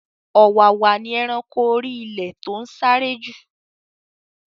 Ọ̀wàwà ni eranko orí ilẹ̀ to n sáré ju